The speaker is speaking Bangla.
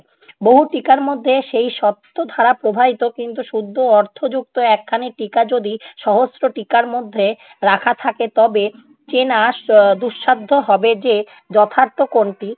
বহু টিকার মধ্যে সেই সপ্ত ধারা প্রবাহিত, কিন্তু শুদ্ধ অর্থ যুক্ত একখানি টিকা যদি সহস্র টিকার মধ্যে রাখা থাকে তবে চেনা এর দুঃসাধ্য হবে যে যথার্থ কোনটি?